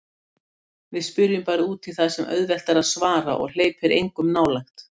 Við spyrjum bara útí það sem er auðvelt að svara og hleypir engum nálægt.